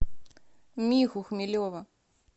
миху хмелева